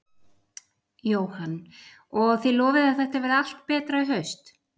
Jóhann: Og þið lofið að þetta verði allt betra í haust?